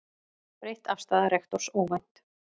Breytt afstaða rektors óvænt